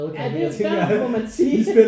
Ja det der må man sige